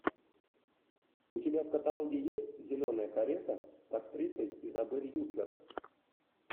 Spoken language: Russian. у тебя в каталоге есть зеленая карета с актрисой изабель юппер